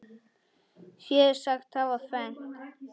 Fé sagt hafa fennt.